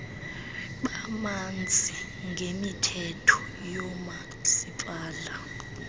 bamanzi ngemithetho yoomasipala